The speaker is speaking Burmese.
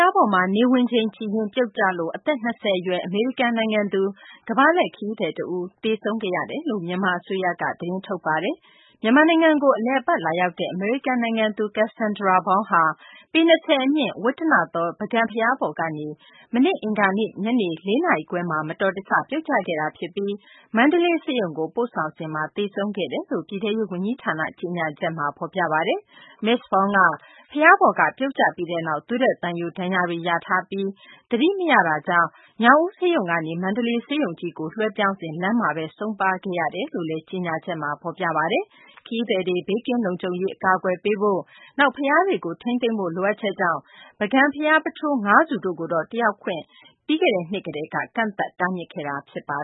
ားပေါ်မှာ နေဝင်ချိန်ကြည့်ရင်း ပြုတ်ကျလို့ အသက် ၂၀ အရွယ် အမေရိကန် နိုင်ငံသား ကမ္ဘာလှည့် ခရီးသည် တဦး သေဆုံးခဲ့ရတယ်လို့ မြန်မာ အစိုးရက သတင်းထုတ်ပါတယ်။ မြန်မာနိုင်ငံကို အလည်အပတ် လာရောက်တဲ့ အမေရိကန် နိုင်ငံသူ Kassandra Braun ဟာ ပေ ၂၀ အမြင့် - ဝတ္တနသော ပုဂံဘုရားပေါ်ကနေ မနေ့ အင်္ဂါနေ့ ညနေ ၄ နာရီခွဲမှာ မတော်တဆ ပြုတ်ကျခဲ့တာ ဖြစ်ပြီး မန္တလေး ဆေးရုံကိုပို့ဆောင်စဉ်မှာ သေဆုံးခဲ့တယ်လို့ ပြည်ထဲရေး ဝန်ကြီးဌာန ကြေညာချက်မှာ ဖော်ပြပါတယ်။ မစ္စ Braun က ဘုရားပေါ်က ပြုတ်ကျပြီးနောက် သွေးထွက်သံယို ဒဏ်ရာတွေ ရပြီး သတိမရတာကြောင့် ညောင်ဦး ဆေးရုံကနေ မန္တလေးဆေးရုံကြီးကို လွှဲပြောင်းစဉ် လမ်းမှာဘဲ ဆုံးပါးခဲ့ရတာလို့လည်း ကြေညာချက်မှာ ဖော်ပြပါတယ်။ ခရီးသည်တွေ ဘေးကင်းလုံခြုံရေး ကာကွယ်ဖို့၊ နောက် ဘုရားတွေကို ထိန်းသိမ်းဖို့ လိုအပ်ချက်ကြောင့် ပုဂံဘုရား ပုထိုး ၅ ဆူတို့မှာ တက်ရောက်ခွင့်ကို ပြီးခဲ့တဲ့နှစ်က ကန့်သတ်တားမြစ်ခဲ့တာပါ